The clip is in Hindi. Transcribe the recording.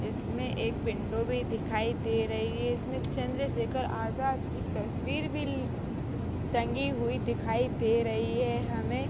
इसमें एक विंडो भी दिखाई दे रही है। इसमें चंद्रशेखर आजाद की तस्वीर भी टंगी हुई दिखाई दे रही है हमें।